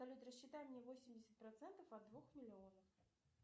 салют рассчитай мне восемьдесят процентов от двух миллионов